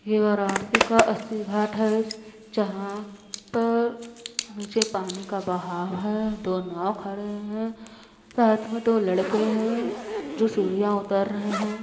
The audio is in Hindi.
यह वाराणसी का अस्सी घाट है जहाँ पर नीचे पानी का बहाव है दो नाव खड़े है साथ मे दो लड़के है जो सिडिया उतर रहे है।